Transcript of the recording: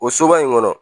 O soba in kɔnɔ